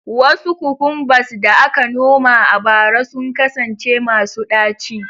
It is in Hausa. Wasu cucumbers da aka noma a bara sun kasance masu ɗaci